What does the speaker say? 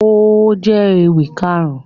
Ó jẹ́ ewì Kàrún